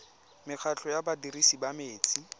mekgatlho ya badirisi ba metsi